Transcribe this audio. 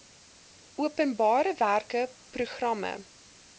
openbare werke programme